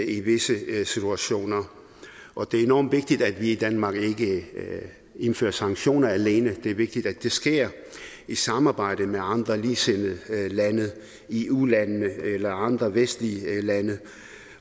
i visse situationer og det er enormt vigtigt at vi i danmark ikke indfører sanktioner alene det er vigtigt at det sker i samarbejde med andre ligesindede lande eu landene eller andre vestlige lande